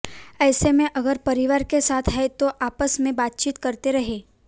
ऐसे में अगर परिवार के साथ हैं तो आपस में बातचीत करते रहें